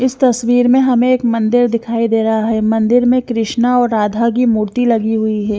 इस तस्वीर में हमें एक मंदिर दिखाई दे रहा है मंदिर में कृष्ण और राधा की मूर्ति लगी हुई है।